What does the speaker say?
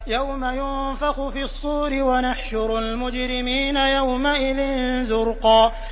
يَوْمَ يُنفَخُ فِي الصُّورِ ۚ وَنَحْشُرُ الْمُجْرِمِينَ يَوْمَئِذٍ زُرْقًا